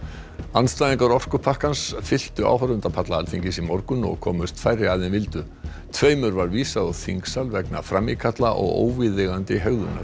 andstæðingar orkupakkans fylltu áhorfendapalla Alþingis í morgun og komust færri að en vildu tveimur var vísað úr þingsal vegna frammíkalla og óviðeigandi hegðunar